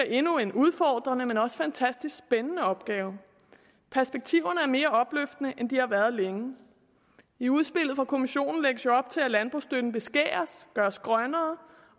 endnu en udfordrende men også fantastisk spændende opgave perspektiverne er mere opløftende end de har været længe i udspillet fra kommissionen lægges der op til at landbrugsstøtten beskæres gøres grønnere